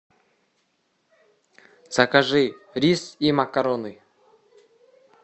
закажи рис и макароны